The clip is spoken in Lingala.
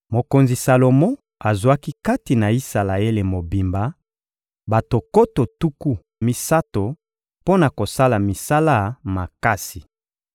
Mokonzi Salomo azwaki kati na Isalaele mobimba bato nkoto tuku misato mpo na kosala misala makasi.